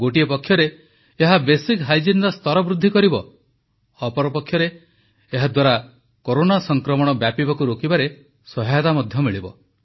ଏକ ପକ୍ଷରେ ଏହା ବେସିକ୍ ହାଇଜିନର ସ୍ତର ବୃଦ୍ଧି କରିବ ଅପର ପକ୍ଷରେ ଏହାଦ୍ୱାରା କୋରୋନା ସଂକ୍ରମଣ ବ୍ୟାପିବାକୁ ରୋକିବାରେ ସହାୟତା ମଧ୍ୟ ମିଳିବ